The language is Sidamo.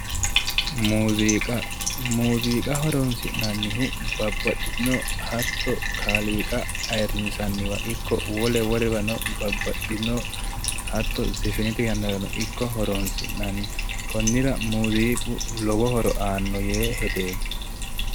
Muuziiqa. Muuziiqa horoonsi'nannihu babbaxxinno hatto kaaliiqa ayirrinsanniwa ikko wole wolewa babbaxxinno hatto zefenete yannarano ikko horoonsi'nanni. Konnira muuziiqu lowo horo aanno yee hedeemmo.